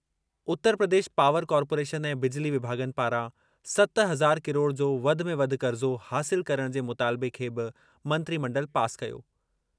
उतर Pradesh power corporation ऐं बिजली विभाॻनि पारां सत हज़ार किरोड़ जो वधि में वधि क़र्ज़ो हासिल करणु जे मुतालिबे खे बि मंत्रिमंडल पास कयो।